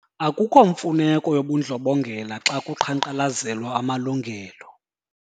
Akukho mfuneko yobundlobongela xa kuqhankqalazelwa amalungelo.